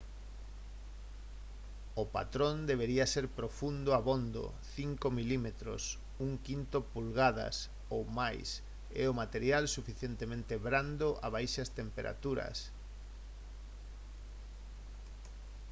o patrón debería ser profundo abondo 5 mm 1/5 polgadas ou máis e o material suficientemente brando a baixas temperaturas